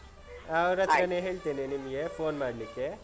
ಹಾ ಅವ್ರತ್ರಾನೇ ಹೇಳ್ತೇನೆ, ನಿಮ್ಗೆ phone ಮಾಡ್ಲಿಕ್ಕೆ .